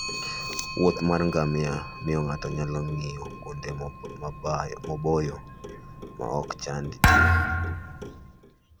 wuoth mar ngamia miyo ng'ato nyalo ng'iyo kuonde maboyo ma ok ochand ji.